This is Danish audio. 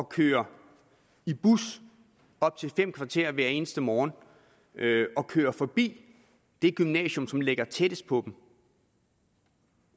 køre i bus i op til fem kvarter hver eneste morgen og køre forbi det gymnasium der ligger tættest på dem